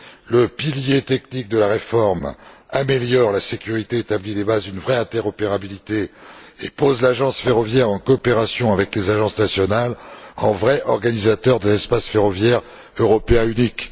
Le pilier technique de la réforme améliore la sécurité, établit les bases d'une véritable interopérabilité et pose l'Agence ferroviaire européenne, en coopération avec les agences nationales, en vrai organisateur d'un espace ferroviaire européen unique.